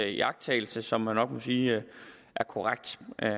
iagttagelse som man nok må sige er korrekt